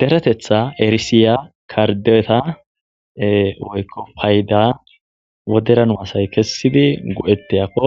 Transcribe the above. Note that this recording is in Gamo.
deretetha erisiya kardeeeta woykko payida woderanu asay kessidi go7eteyakko